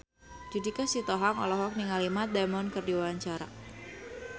Judika Sitohang olohok ningali Matt Damon keur diwawancara